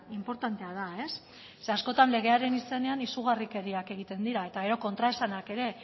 inportantea da zeren askotan legearen izenean izugarrikeriak egiten dira eta gero kontraesanak ere